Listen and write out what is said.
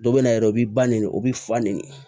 Dɔ bɛ na yɛrɛ o b'i ba ne o bɛ fa ni ne